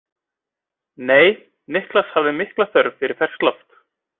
Nei, Niklas hafði mikla þörf fyrir ferskt loft.